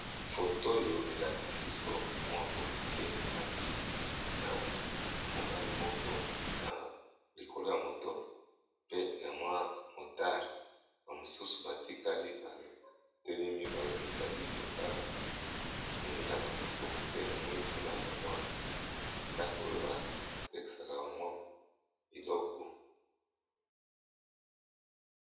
Foto oyo elakisi biso mwa polisier amati na mobali moko na likolo ya moto pe na mwa motare bamosusu batikali batelemi bazali kotala moninga na bango pe na moni kuna bamwa ndako oyo batekisaka bamwa biloko.